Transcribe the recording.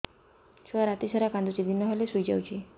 ଛୁଆ ରାତି ସାରା କାନ୍ଦୁଚି ଦିନ ହେଲେ ଶୁଇଯାଉଛି